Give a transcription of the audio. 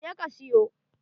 Je ka siyo!